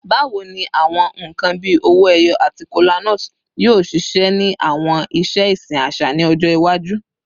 Bawo ni awọn nkan bii owo eyo ati kolanut yoo ṣiṣẹ ni awọn iṣe isin aṣa ni ọjọ iwaju?